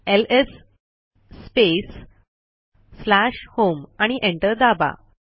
LS space slash home आणि enter दाबा